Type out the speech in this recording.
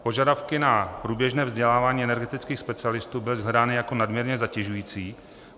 Požadavky na průběžné vzdělávání energetických specialistů byly shledány jako nadměrně zatěžující.